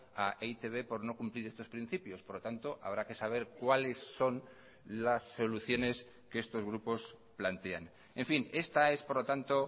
a e i te be por no cumplir estos principios por lo tanto habrá que saber cuáles son las soluciones que estos grupos plantean en fin esta es por lo tanto